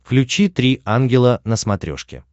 включи три ангела на смотрешке